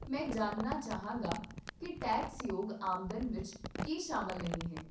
ਮੈਂ ਜਾਣਨਾ ਚਾਹਾਂਗਾ ਕਿ ਟੈਕਸਯੋਗ ਆਮਦਨ ਵਿੱਚ ਕੀ ਸ਼ਾਮਲ ਨਹੀਂ ਹੈ